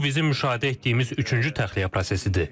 Bu bizim müşahidə etdiyimiz üçüncü təxliyə prosesidir.